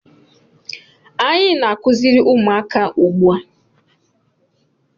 Anyị na-akụziri ụmụaka ugbu a.